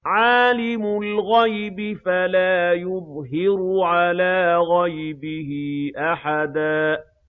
عَالِمُ الْغَيْبِ فَلَا يُظْهِرُ عَلَىٰ غَيْبِهِ أَحَدًا